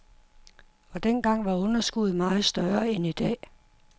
Og dengang var underskuddet meget større end i dag.